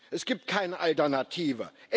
Es gibt keine Alternative.